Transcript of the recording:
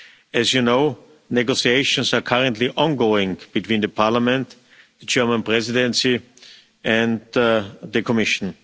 As you know, negotiations are currently ongoing between the Parliament, the German Presidency and the Commission.